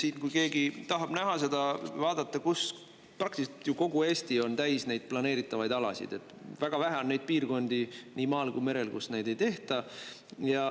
Siin kui keegi tahab näha seda, vaadata, kus, praktiliselt ju kogu Eesti on täis neid planeeritavaid alasid, väga vähe on neid piirkondi nii maal kui merel, kus neid ei tehta.